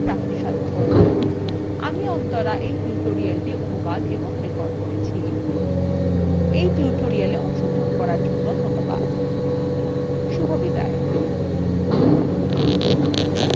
আমি অন্তরা এই টিউটোরিয়ালটি অনুবাদ এবং রেকর্ড করেছি এই টিউটোরিয়ালএ অংশগ্রহন করার জন্য ধন্যবাদ